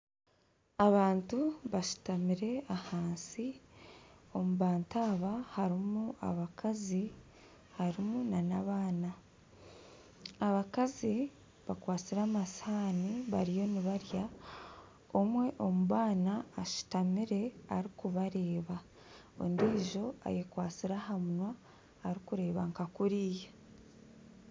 Abantu bashutamire ahansi omubantu aba harimu abakazi harimu n'abaana abakazi bakwatsire amasihaani bariyo nibarya omwe omu baana ashutamire arikubareeba ondiijo ayekwatsire aha munwa arikureeba nka kuriya